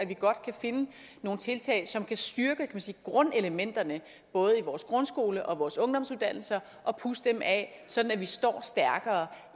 vi godt kan finde nogle tiltag som kan styrke grundelementerne både i vores grundskole og på vores ungdomsuddannelser og pudse dem af sådan at vi står stærkere